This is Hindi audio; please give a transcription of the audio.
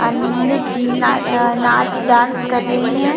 अन नित नाड आ नाच डांस कर रही है।